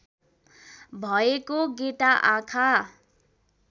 भएको गेटा आँखा